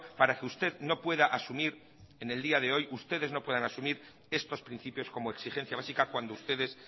para que usted no pueda asumir en el día de hoy estos principios como exigencia básica cuando ustedes